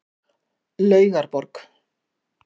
Laugarborg